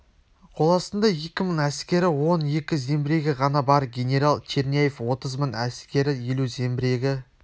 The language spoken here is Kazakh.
қоластында екі мың әскері он екі зеңбірегі ғана бар генерал черняев отыз мың әскері елу зеңбірегі